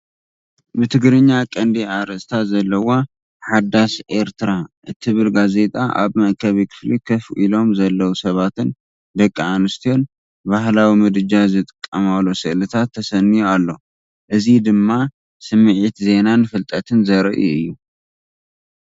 ብትግርኛ ቀንዲ ኣርእስቲ ዘለዋ "ሓዳስ ኤርትራ" እትብል ጋዜጣ ኣብ መአከቢ ክፍሊ ኮፍ ኢሎም ዘለዉ ሰባትን ደቂ ኣንስትዮ ባህላዊ ምድጃ ዝጥቀማሉ ስእልታትን ተሰንዩ ኣሎ። እዚ ድማ ስምዒት ዜናን ፍልጠትን ዘርኢ እዩ።